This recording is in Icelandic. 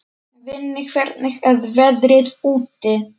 Vinni, hvernig er veðrið úti?